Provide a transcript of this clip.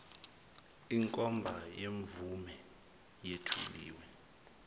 inkomba yemvume yethuliwe